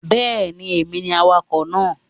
Bẹ́ẹ̀ni, èmi ni awakọ̀ náà